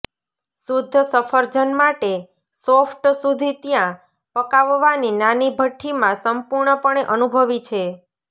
શુદ્ધ સફરજન માટે સોફ્ટ સુધી ત્યાં પકાવવાની નાની ભઠ્ઠી માં સંપૂર્ણપણે અનુભવી છે